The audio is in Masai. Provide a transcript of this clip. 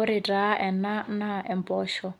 Ore taa ena naa empoosho